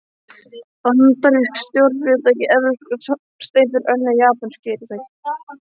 Bandarísk stórfyrirtæki, evrópskar samsteypur, önnur japönsk fyrirtæki.